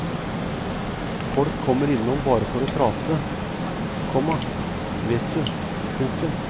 Folk kommer innom bare for å prate, komma vet du. punktum